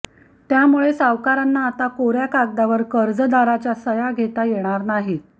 त्यामुळे सावकारांना आता कोर्या कागदावर कर्जदाराच्या सह्या घेता येणार नाहीत